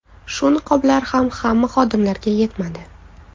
Shu niqoblar ham hamma xodimlarga yetmadi.